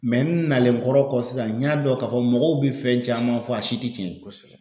n nalen kɔrɔ kɔ sisan n y'a dɔn k'a fɔ mɔgɔw bɛ fɛn caman fɔ a si tɛ cɛn ye kosɛbɛ.